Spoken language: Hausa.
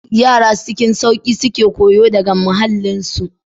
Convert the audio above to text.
Yara cikin sauki suke koyo daga muhallinsu.